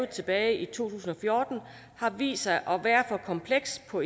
tilbage i to tusind og fjorten har vist sig at være for kompleks på